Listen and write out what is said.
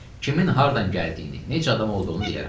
Kimin hardan gəldiyini, necə adam olduğunu deyərəm.